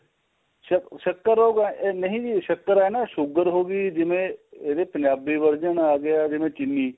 ਸਕਰ ਉਹ ਨਹੀਂ ਜੀ ਸਕਰ ਏ ਨਾ sugar ਹੋ ਗਈ ਜਿਵੇਂ ਇਹਦੇ ਪੰਜਾਬੀ version ਆ ਗਿਆ ਜਿਵੇਂ ਚੀਨੀ